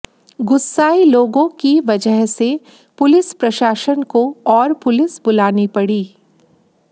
गुस्साए लोगों की वजह से पुलिस प्रशासन को और पुलिस बुलानी पड़ी